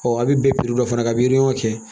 a bɛ bɛn dɔ fana na ka miliyɔn kɛ